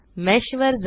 mesh वर जा